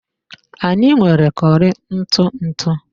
Anyị nwere curry ntụ ntụ